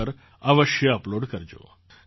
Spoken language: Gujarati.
in પર અવશ્ય અપલૉડ કરજો